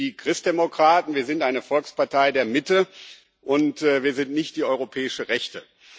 Wir sind die Christdemokraten, wir sind eine Volkspartei der Mitte, und wir sind nicht die europäische Rechte.